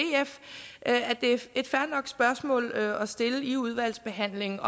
er et fair nok spørgsmål at at stille i udvalgsbehandlingen